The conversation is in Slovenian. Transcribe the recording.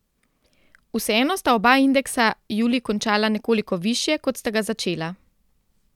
Vseeno sta oba indeksa julij končala nekoliko višje, kot sta ga začela.